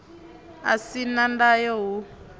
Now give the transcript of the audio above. u si na ndayo hu